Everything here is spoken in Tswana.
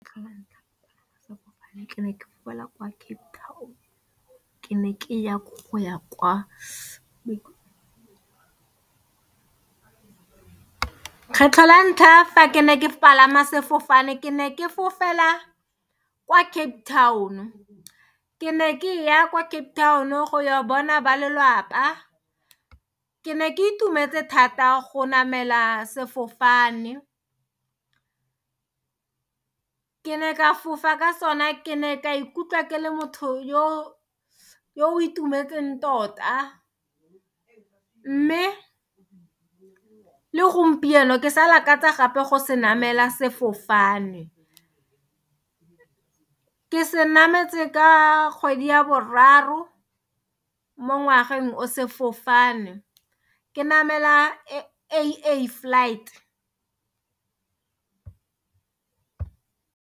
Kgetlho lantlha fa ke ne ke palama sefofane ke ne ke fofela kwa Cape Town ke ne ke ya kwa Cape Town go ya bona ba lelwapa ke ne ke itumetse thata go namela sefofane ke ne ka fofa ka sone ke ne ka ikutla ke le motho yo o itumetseng tota mme le gompieno ke sa lakaletsa go se namela sefofane ke se nametse ka kgwedi ya boraro mo ngwageng o sefofane ke namela AA flight.